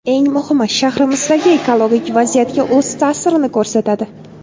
Eng muhimi, shahrimizdagi ekologik vaziyatga o‘z ta’sirini ko‘rsatadi.